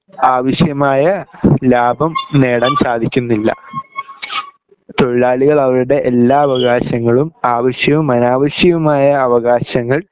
ആവിശ്യമായ ലാഭം നേടാൻ സാധിക്കുന്നില്ല തൊഴിലാളികൾ അവരുടെ എല്ലാ അവകാശങ്ങളും ആവിശ്യവും അനാവിശ്യവുമായ അവകാശങ്ങൾ